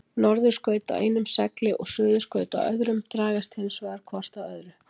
Norðurskaut á einum segli og suðurskaut á öðrum dragast hins vegar hvort að öðru.